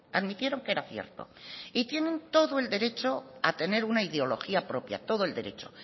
admitieron que era cierto y tienen todo el derecho a tener una ideología propia todo el derecho